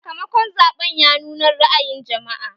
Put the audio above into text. Sakamakon zaɓen ya nuna ra'ayin jama'a